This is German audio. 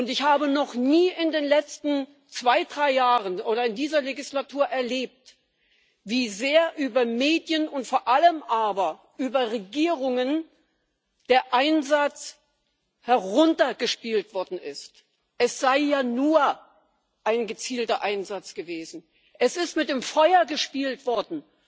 Ich habe noch nie in den letzten zwei, drei Jahren oder in dieser Legislatur erlebt, wie sehr über Medien, vor allem aber über Regierungen der Einsatz heruntergespielt worden ist es sei ja nur ein gezielter Einsatz gewesen. Es ist mit dem Feuer gespielt worden!